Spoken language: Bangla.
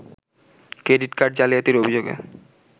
ক্রেডিট কার্ড জালিয়াতির অভিযোগে